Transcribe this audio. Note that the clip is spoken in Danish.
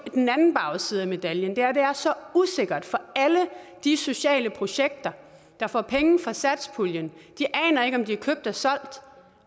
en anden bagside af medaljen at det er så usikkert for alle de sociale projekter der får penge fra satspuljen de aner ikke om de er købt eller solgt